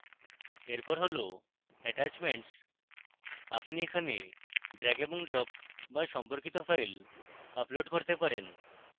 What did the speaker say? এরপর হল attachments আপনি এখানে drag এবং drop বা সম্পর্কিত files upload করতে পারেন